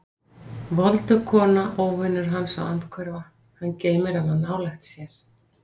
Voldug kona, óvinur hans og andhverfa: hann geymir hana nálægt sér.